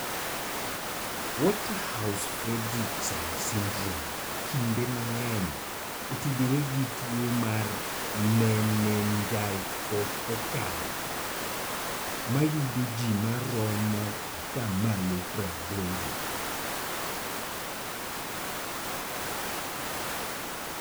Waterhouse Friderichsen syndrome kinde mang'eny otudore gi tuo mar meningococcal (ma yudo ji maromo 80%).